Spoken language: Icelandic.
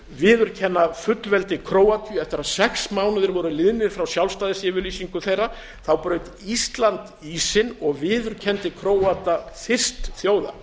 viðurkenna fullveldi króatíu eftir að sex mánuðir var liðnir frá sjálfstæðisyfirlýsingu þeirra braut ísland ísinn og viðurkenndi króata fyrst þjóða